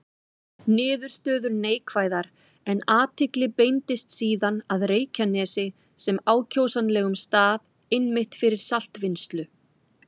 Niðurstöður neikvæðar, en athygli beindist síðan að Reykjanesi sem ákjósanlegum stað einmitt fyrir saltvinnslu.